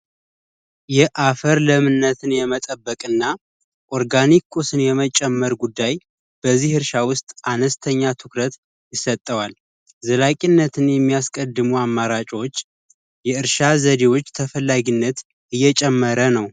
የአፈር ለምነትን የመጠበቅ እና ኦርጋኒክ ቁስል የመጨመር ጉዳይ በዚህ እርሻ ውስጥ አነስተኛ ትኩረት ይሰጠዋል ዘላቂነት የሚያስቀድሞ አማራጮች የእርሻ ተፈላጊ ዘዴዎች እየጨመረ ነው።